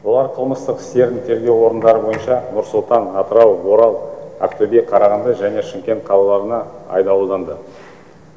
олар қылмыстық істерін тергеу орындары бойынша нұр сұлтан атырау орал ақтөбе қарағанды және шымкент қалаларына айдалынды